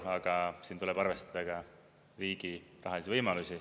Aga siin tuleb arvestada riigi rahalisi võimalusi.